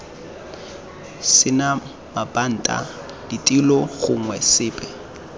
sena mabanta ditilo gongwe sepe